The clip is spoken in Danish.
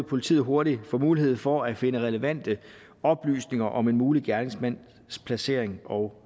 politiet hurtigt få mulighed for at finde relevante oplysninger om en mulig gerningsmands placering og